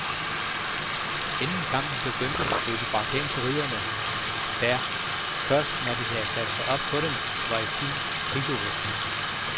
Inden kampen begyndte, blev de bragt hen til ridderne, der, først når de havde sat sig op på dem, var i fuld krigsudrustning.